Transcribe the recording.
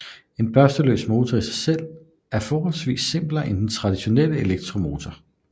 En børsteløs motor i sig selv er forholdsvis simplere end traditionelle elektromotorer